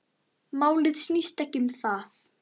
Málið snýst ekki um það.